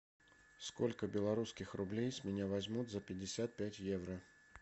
сколько белорусских рублей с меня возьмут за пятьдесят пять евро